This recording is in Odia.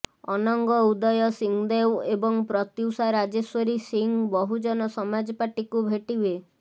ଅନଙ୍ଗ ଉଦୟ ସିଂଦେଓ ଏବଂ ପ୍ରତ୍ୟୁଷା ରାଜେଶ୍ବରୀ ସିଂ ବହୁଜନ ସମାଜପାର୍ଟିକୁ ଭେଟିବେ